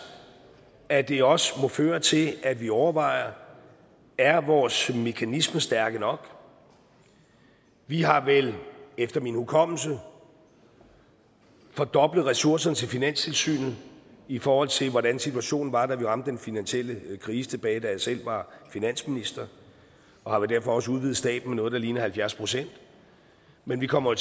at det også må føre til at vi overvejer er vores mekanismer stærke nok vi har vel efter min hukommelse fordoblet ressourcerne til finanstilsynet i forhold til hvordan situationen var da vi ramte den finansielle krise tilbage da jeg selv var finansminister og har vel derfor også udvidet staben med noget der ligner halvfjerds procent men vi kommer